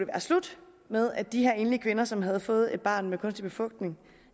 være slut med at de her enlige kvinder som havde fået et barn ved kunstig befrugtning